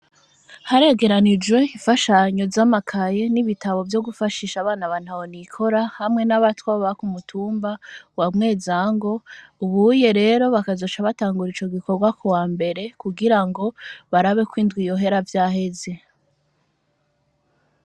Haregeranijwe infashanyo za makaye n'ibitabo vyo gufashisha abana ba ntahonikora hamwe n'abatwa baba ku mutumba wa Mwezango ubunye rero bakazoca batangura ico gikorwa ku wambere ku girango barabe ko indwi yohera vyaheze.